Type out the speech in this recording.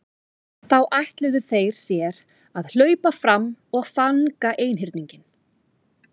Þá ætluðu þeir sér að hlaupa fram og fanga einhyrninginn.